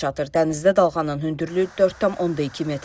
Dənizdə dalğanın hündürlüyü 4,2 metrdir.